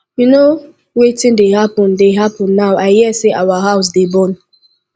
you know wetin dey happen dey happen now i hear say our house dey burn